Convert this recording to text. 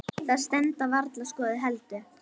Það stenst varla skoðun heldur.